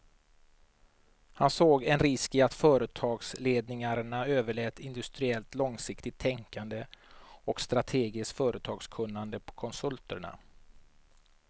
Han såg en risk i att företagsledningarna överlät industriellt långsiktigt tänkande och strategiskt företagskunnande på konsulterna.